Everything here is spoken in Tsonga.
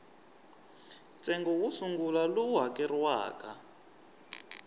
ntsengo wo sungula lowu hakeriwaka